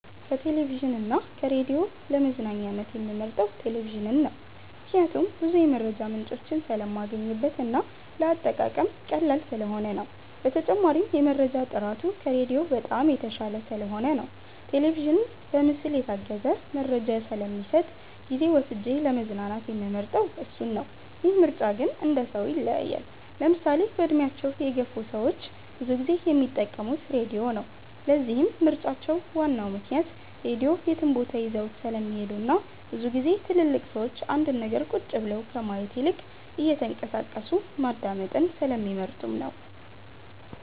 ከቴሌቪዥን እና ከራዲዮ ለመዝናኛነት የምመርጠው ቴሌቪዥንን ነው። ምክንያቴም ብዙ የመረጃ ምንጮችን ስለማገኝበት እና ለአጠቃቀም ቀላል ስለሆነ ነው። በተጨማሪም የመረጃ ጥራቱ ከራዲዮ በጣም የተሻለ ስለሆነ ነው። ቴሌቪዥን በምስል የታገዘ መረጃ ስለሚሰጥ ጊዜ ወስጄ ለመዝናናት የምመርጠው እሱን ነው። ይህ ምርጫ ግን እንደሰው ይለያያል። ለምሳሌ በእድሜያቸው የገፍ ሰዎች ብዙ ጊዜ የሚጠቀሙት ራድዮ ነው። ለዚህም ምርጫቸው ዋናው ምክንያት ራድዮ የትም ቦታ ይዘውት ስለሚሄዱ እናም ብዙ ግዜ ትልልቅ ሰዎች አንድን ነገር ቁጭ ብለው ከማየት ይልቅ እየተንቀሳቀሱ ማዳመጥን ስለሚመርጡ ነው።